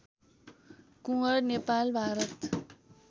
Kunwar Nepal Bharat